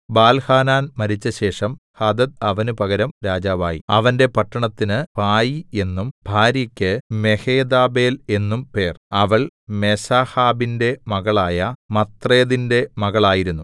ബാൽഹാനാൻ മരിച്ചശേഷം ഹദദ് അവന് പകരം രാജാവായി അവന്റെ പട്ടണത്തിന് പായീ എന്നും ഭാര്യക്ക് മെഹേതബേൽ എന്നും പേർ അവൾ മേസാഹാബിന്റെ മകളായ മത്രേദിന്റെ മകളായിരുന്നു